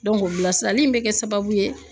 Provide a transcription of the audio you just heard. bilasirali in bɛ kɛ sababu ye